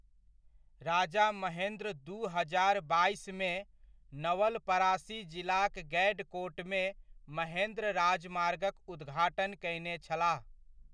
राजा महेन्द्र दू हजार बाइसमे, नवलपरासी जिलाक गैडकोटमे, महेन्द्र राजमार्गक उद्घाटन कयने छलाह।